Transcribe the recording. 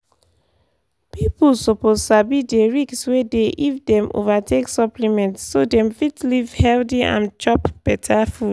pipiu suppose sabi dey risk wey dey if dem over take supplement so dem fit live healthy and chop better food.